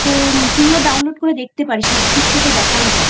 তো তুইও Download করে দেখতেপারিস Netflix এ তো দেখাই যায়।